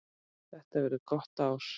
Þetta verður gott ár.